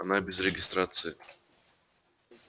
она без регистрации